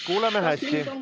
Kuuleme hästi.